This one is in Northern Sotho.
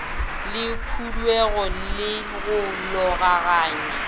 le khuduego le go logaganya